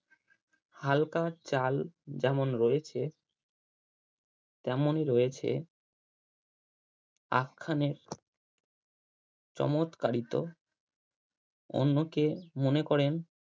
হালকা চাল যেমন রয়েছে তেমন রয়েছে আখ্যানের চমৎকারিত অন্যকে মনে করেন